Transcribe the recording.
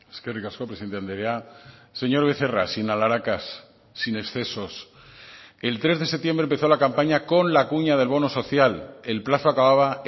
eskerrik asko presidente andrea señor becerra sin alharacas sin excesos el tres de septiembre empezó la campaña con la cuña del bono social el plazo acababa